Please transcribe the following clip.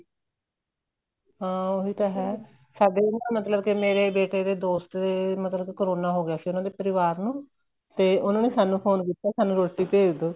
ਹਾਂ ਉਹੀ ਤਾਂ ਏ ਸਾਡੇ ਨਾ ਮਤਲਬ ਕੇ ਮੇਰੇ ਬੇਟੇ ਦਾ ਦੋਸਤ ਦੇ ਮਤਲਬ ਕਰੋਨਾ ਹੋ ਗਿਆ ਸੀ ਉਹਨਾ ਦੇ ਪਰਿਵਾਰ ਨੂੰ ਤੇ ਉਹਨਾ ਨੇ ਸਾਨੂੰ ਫੋਨ ਕੀਤਾ ਰੋਟੀ ਭੇਜ ਦਵੋ